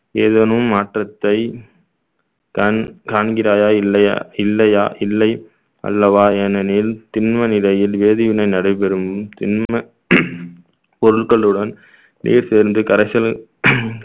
ஏதேனும் மாற்றத்தை கண்~ காண்கிறாயா இல்லையா இல்லையா இல்லை அல்லவா ஏனெனில் திண்ம நிலையில் வேதிவினை நடைபெறும் திண்ம பொருட்களுடன் நீர் சேர்ந்து கரைசல்